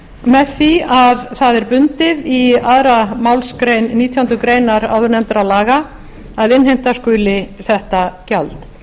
með því að það er bundið í annarri málsgrein nítjánda grein áðurnefndra laga að innheimta skuli þetta gjald